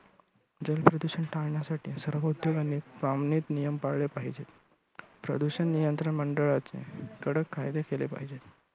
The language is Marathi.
जल प्रदूषण टाळण्यासाठी सर्व उद्योगांनी सामूहिक नियम पळाले पाहिजेत. प्रदूषण नियंत्रण मंडळाचे कडक कायदे केले पाहिजेत.